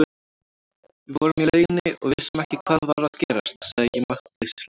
Við vorum í lauginni og vissum ekki hvað var að gerast, sagði ég máttleysislega.